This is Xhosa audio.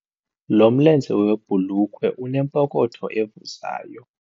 Lo mlenze webhulukhwe unepokotho evuzayo.